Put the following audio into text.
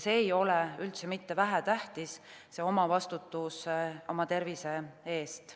See ei ole üldse mitte vähetähtis, see omavastutus oma tervise eest.